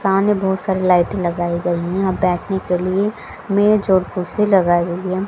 साने बहोत सारे लाइटें लगाए गए है आ बैठने के लिए मेज और कुर्सी लगाई गई है।